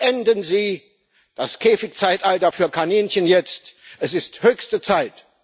Beenden Sie das Käfigzeitalter für Kaninchen jetzt es ist höchste Zeit!